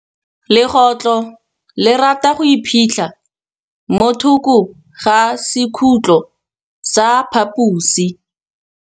Legôtlô le rata go iphitlha mo thokô ga sekhutlo sa phaposi.